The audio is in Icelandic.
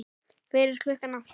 Fyrir klukkan átta?